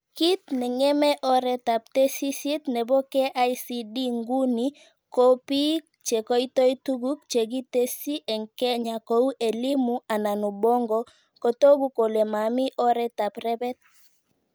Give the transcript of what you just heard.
Kit nengeme oretab tesisyit nebo KICD nguni ko bik cheikotoi tuguk chekitesyi eng Kenya, kou Elimu anan Ubongo, kotoku kole mami oretab rebet